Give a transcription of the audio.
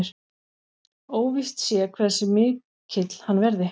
Óvíst sé hversu mikill hann verði